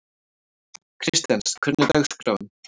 Kristens, hvernig er dagskráin?